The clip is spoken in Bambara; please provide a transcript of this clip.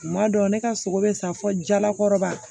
Kuma dɔ ne ka sogo bɛ sa fɔ jalakɔrɔba